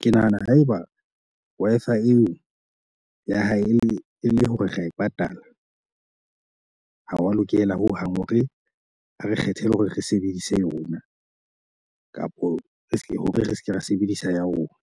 Ke nahana haeba Wi-Fi eo ya hae e le hore ra e patala, ha wa lokela ho hang hore a re kgethele hore re sebedise yona kapo re ska hore re se ke ra sebedisa ya rona.